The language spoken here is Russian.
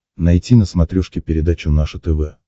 найти на смотрешке передачу наше тв